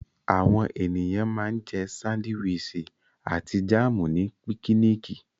Àwọn ènìyàn ma ń jẹ́ sándíwìsì àti jáàmù ní pikiniki